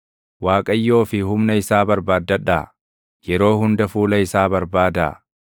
Waaqayyoo fi humna isaa barbaaddadhaa; yeroo hunda fuula isaa barbaadaa.